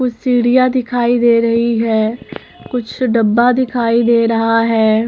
कुछ सीढ़ियां दिखाई दे रही हैं कुछ डब्बा दिखाई दे रहा है।